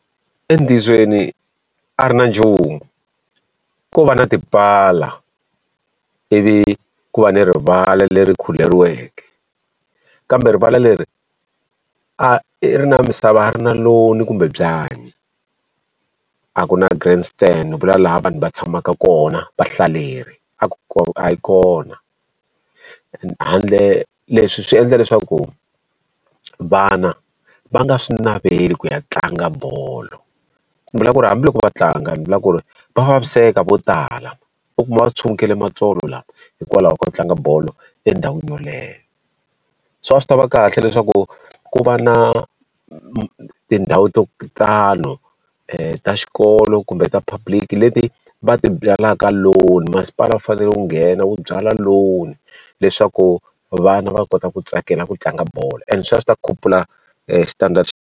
Entiyisweni a ri na nchumu, ko va na tipala ivi ku va ni rivala leri khuleriweke. Kambe rivala leri a ri na misava a ri na lawn-i kumbe byanyi, a ku na grandstand vula laha vanhu va tshamaka kona vahlaleri, a a yi kona. Handle leswi swi endla leswaku vana va nga swi naveli ku ya tlanga bolo. Ndzi vula ku ri hambiloko va tlanga ni vula ku ri va vaviseka vo tala, u kuma tshumukile matsolo lawa hikwalaho ko ku tlanga bolo endhawini yeleyo. So a swi ta va kahle leswaku ku va na tindhawu to tani ta xikolo kumbe ta public-i leti va ti byalaka lawn masipala u fanele ku nghena wu byalwa lawn, leswaku vana va kota ku tsakela ku tlanga bolo and sweswo a swi ta khupula standard .